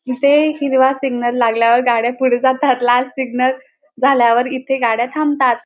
इथे हिरवा सिग्नल लागल्यावर गाड्या पुढे जातात लाल सिग्नल झाल्यावर इथे गाड्या थांबतात.